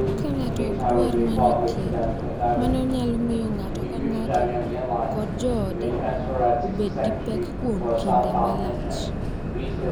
Ka ng’ato ok dwar manyo thieth, mano nyalo miyo ng’ato ka ng’ato kod joode obed gi pek kuom kinde malach,